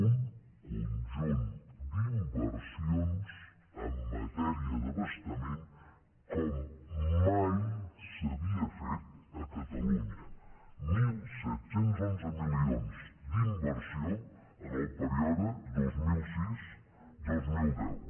un conjunt d’inversions en matèria d’abastament com mai s’havia fet a catalunya disset deu u milions d’inversió en el període dos mil sis dos mil deu